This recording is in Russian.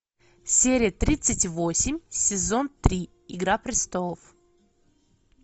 серия тридцать восемь сезон три игра престолов